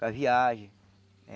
Para viagem.